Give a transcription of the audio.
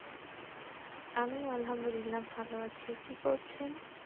আমিও আলহামদুলিল্লাহ ভালো আছি কি করছেন